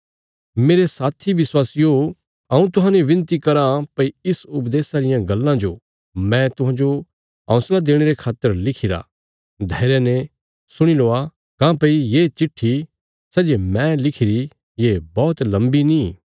मेरे साथी विश्वासियो हऊँ तुहांजो विनती कराँ भई इस उपदेशा रियां गल्लां जो मैं तुहांजो हौंसला देणे रे खातर लिखिरा धैर्य ने सुणी लौआ काँह्भई ये चिट्ठी सै जे मैं लिखिरी ये बौहत लम्बी नीं